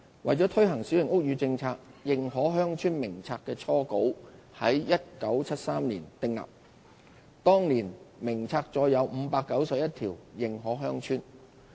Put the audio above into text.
為推行小型屋宇政策，《認可鄉村名冊》的初稿於1973年訂定，當年名冊載有591條認可鄉村。